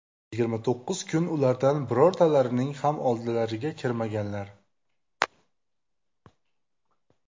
Yigirma to‘qqiz kun ulardan birortalarining ham oldilariga kirmaganlar.